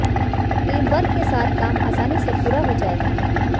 teamwork के साथ काम आसानी से पूरा हो जायेगा